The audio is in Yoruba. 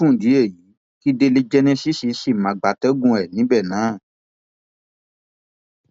fún ìdí èyí kí délé genesis ṣì máa gbatẹgùn ẹ níbẹ náà